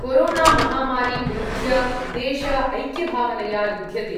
कोरोनामहामारीं विरुध्य देश ऐक्यभावनया युद्ध्यते।